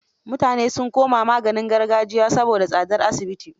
Mutanen sun koma magaungunan gargajiya saboda tsadar asibit.